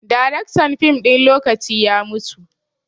Daraktan fim ɗin lokaci ya mutu